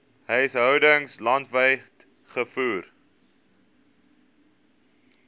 huishoudings landwyd gevoer